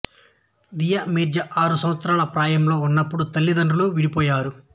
దియా మిర్జా ఆరు సంవత్సరాల ప్రాయంలో ఉన్నపుడు తల్లిదండ్రులు విడిపోయారు